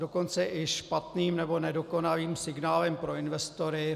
Dokonce i špatným nebo nedokonalým signálem pro investory.